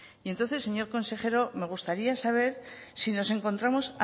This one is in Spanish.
y entonces señor consejero me gustaría saber si nos encontramos